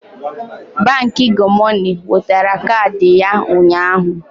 Baankị Gomoney wetara kaadị ya ụnyaahụ